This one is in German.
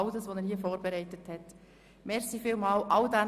Vielen Dank an alle, die stets ihre Arbeit machen.